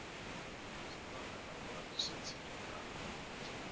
sikwa kana u alusa tserekano